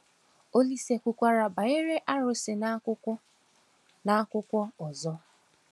Olísè kwukwara banyere arụsị n’akaụkwọ n’akaụkwọ ọzọ.